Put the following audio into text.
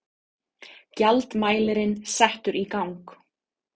Gjaldmælirinn settur í gang.